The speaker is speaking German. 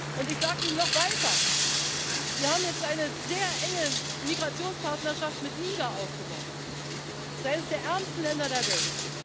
ist. Und ich sage Ihnen noch weiter Wir haben jetzt eine sehr enge Migrationspartnerschaft mit Niger aufgebaut. Das ist eines der ärmsten Länder der